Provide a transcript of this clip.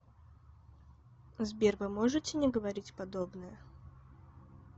сбер вы можете не говорить подобное